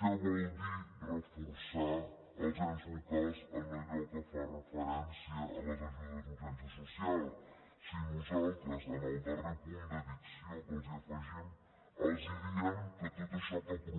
què vol dir reforçar els ens locals en allò que fa referència a les ajudes d’urgència social si nosaltres en el darrer punt d’addició que els afegim els diem que tot això que proposen ho concretin en el pressupost del dos